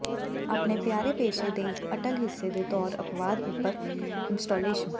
ਆਪਣੇ ਪਿਆਰੇ ਪੇਸ਼ੇ ਦੇ ਇੱਕ ਅਟੱਲ ਹਿੱਸੇ ਦੇ ਤੌਰ ਅਪਵਾਦ ਉੱਪਰ ਇੰਸਟਾਲੇਸ਼ਨ